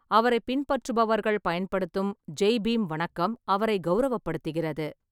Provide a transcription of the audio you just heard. அவரைப் பின்பற்றுபவர்கள் பயன்படுத்தும் ஜெய் பீம் வணக்கம் அவரைக் கௌரவப்படுத்துகிறது.